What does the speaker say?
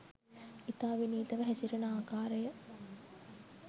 ඉතා විනීතව හැසිරෙන ආකාරය